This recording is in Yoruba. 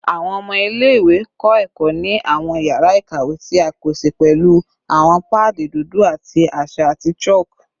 Awọn ọmọ ile-iwe kọ ẹkọ ni awọn yara ikawe ti a pese pẹlu awọn paadi dudu ti aṣa ati chalk